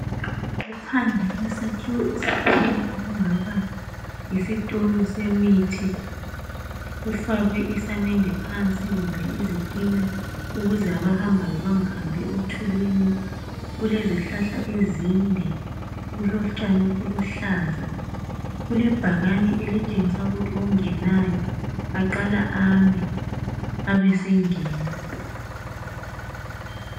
Kuphandle kwesakhiwo esithile okungaba yisitolo semithi .Kufakwe isamende phansi kumbe izitina ukuze abahambayo bangahambi othulini . Kulezihlahla ezinde .Kulotshani obuluhlaza .Kule bhakane elitshengisa ukuthi ongenayo aqale ame abesengena .